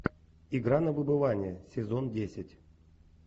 игра на выбывание сезон десять